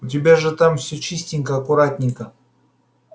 у тебя же там все чистенько аккуратненько